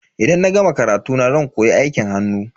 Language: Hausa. Idan na gama karatuna zan koyi aikin hannu.